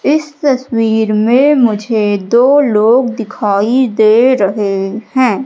इस तस्वीर में मुझे दो लोग दिखाई दे रहे हैं।